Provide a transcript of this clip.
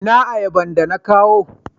ina ayaban da na kawo?